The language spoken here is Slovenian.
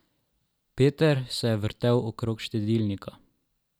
Peter se je vrtel okrog štedilnika.